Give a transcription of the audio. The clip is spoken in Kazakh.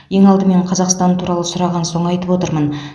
ең алдымен қазақстан туралы сұраған соң айтып отырмын